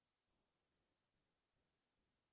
ভালে কেইখনে উপন্যাসয়ে আছে